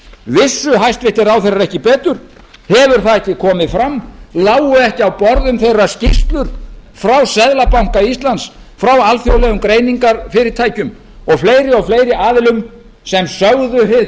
vissu hæstvirtir ráðherrar ekki betur hefur það ekki komið fram lágu ekki á borðum þeirra skýrslur frá seðlabanka íslands frá alþjóðlegum greiningarfyrirtækjum og fleiri aðilum sem sögðu hið